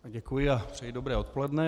Děkuji a přeji dobré odpoledne.